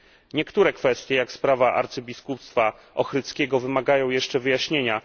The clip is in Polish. Niektóre kwestie, takie jak sprawa arcybiskupstwa ochrydzkiego, wymagają jeszcze wyjaśnienia.